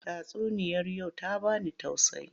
Tatsuniyar yau ta ba ni tauaayi.